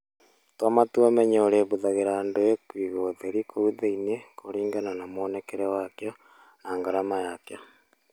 Tua matua ũmenye ũrĩhũthagĩra kĩĩ kũiga ũtheri kũu thĩinĩ kũringana na mwonekere wakĩo na ngarama yakĩo.